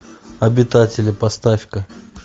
обитатели поставь ка